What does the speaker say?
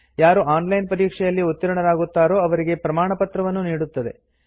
ಯಾರು online ಪರೀಕ್ಷೆಯಲ್ಲಿ ಉತ್ತೀರ್ಣರಾಗುತ್ತಾರೋ ಅವರಿಗೆ ಪ್ರಮಾಣಪತ್ರವನ್ನೂ ನೀಡುತ್ತದೆ